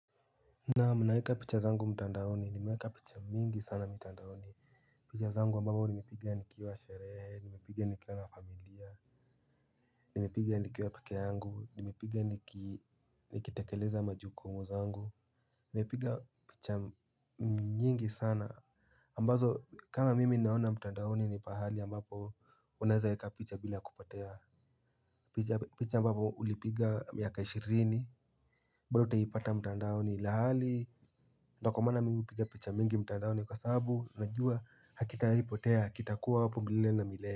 Naam naweka picha zangu mtandaoni nimeweka picha nyingi sana mtandaoni. Picha zangu ambapo nimipiga nikiwa sherehe, nimipiga nikiwa na familia. Nimepiga nikiwa peke yangu, nimepiga nikitekeleza majukumu zangu. Mepiga picha nyingi sana ambazo kama mimi naona mtandaoni ni pahali ambapo unaweza weka picha bila kupotea. Picha ambazo ulipiga miaka ishirini bado utaipata mtandaoni lahali. Na kwa mana mimi hupiga picha mingi mtandaoni kwa sababu najua hakitawahipotea kitakuwa hapo milele na milele.